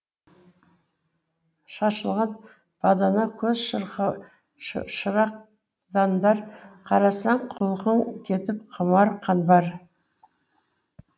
шашылған бадана көз шырақдандар қарасаң құлқың кетіп құмар қанбар